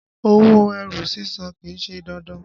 Owó ẹrù sísàn kìí ṣe dandan.